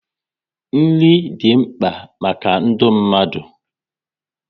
Nri dị mkpa maka ndụ mmadụ